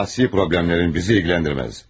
Şəxsi problemlərin bizi ilgiləndirməz.